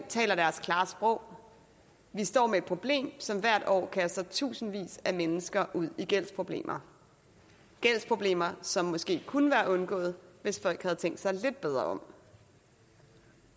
taler deres klare sprog vi står med et problem som hvert år kaster tusindvis af mennesker ud i gældsproblemer gældsproblemer som måske kunne være undgået hvis folk havde tænkt sig lidt bedre om